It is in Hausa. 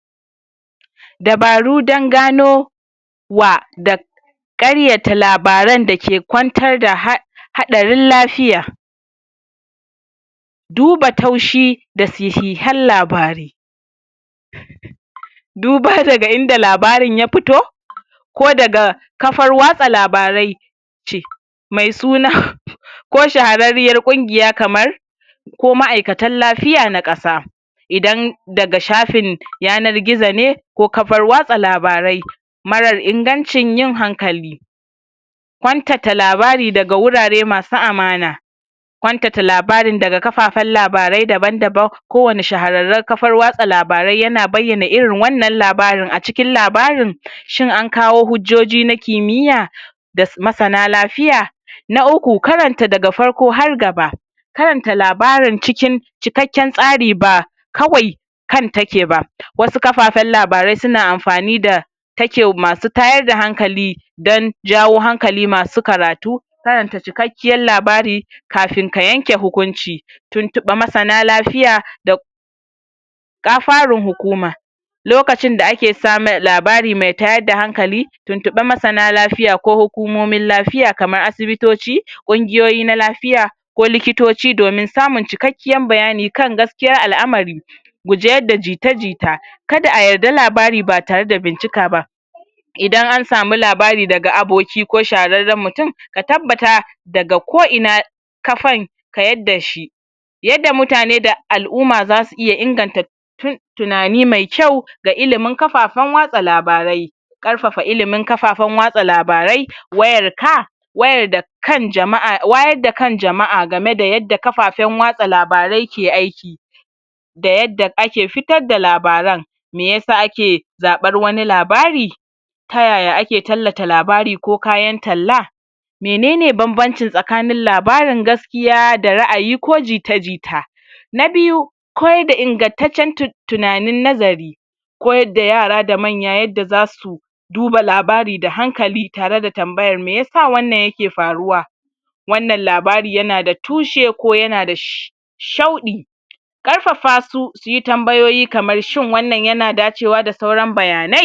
dabaru dan ganio wa da karyata labaran dake kwantar da ha haarin lafiya duba taushi da sahihan labarai duba daga inda labarin ya fito ko daga kafar watsa labarai ce mai suna ko shahararriyar ƙungiya kamar ko ma'ikatan lafiya na ƙasa idan daga shafin yanar gizo ne ko kafar watsa labarai mararar ingancin yin hankali kwantata labari daga wurare masu amana kwantata labarin daga kafafai dabandaban kowani shahareren kafar watsa labarai yana bayana irin wanna labarin acikin labarin shin ankawo hujjoji na kimiyya da masana lafiya na uku karanta daga farko har gaba karanta labarin cikin cikekken tsari ba kawai kan take ba wasu kafafen labarai suna anfani da ta masu tayar da hankali dan jawo hankali masu karatu karanta cikekkiyan labari kafin ka yanke hunkunci tuntuɓa masana lafiya da ga farun hukuma lokacin da ake samen labari mai tayar da hankali tuntuɓa masana lafiya ko hukumomin lafiya kamar asibitoci ƙungiyoyi na lafiya ko likitoci domin samun cike kiyan bayani domin jin gaskiyan lamari guji yadda jita jita kada ayarda labari batare da bincikka ba idan an samu labari daga aboki ko shahararren mutun ka tabbata daga ko ina kafan ka yadda shi yanda mutane da al'umma dasu inganta tunani ne kyau ga ilimin kafafen watsa labarai ƙarfafa ilimin kafafan watsa labarai wayar ka wayar da kan jama'a, wayar da kan jama'a gameda yadda kafafaen watsa labarai ke aiki da yadda ake fiyar da labaran me yasa ake zaɓar wani labari tayaya ake tallata labari ko kayan talla menene banbancin tsakanin labarin gas kiya da ra'ayi ko jita jita na biyu koyad da ingantaccen tunanin nazari koyada da yara da manya yadda zasu duba labari da hankali tare da tambayar meyasa wanna yake faruwa wannan labari yana da tushe koyana da shauɗi karfafa su suyi tambayoyi kamar shin wanan yana dacewa da sauran bayanai?